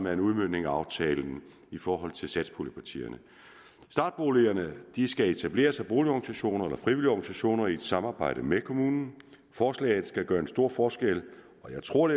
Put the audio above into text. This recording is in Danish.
er en udmøntning af aftalen i forhold til satspuljepartierne startboligerne skal etableres af boligorganisationer eller af frivillige organisationer i et samarbejde med kommunen forslaget kan gøre en stor forskel og jeg tror